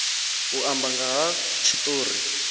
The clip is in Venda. u amba nga ha tshitori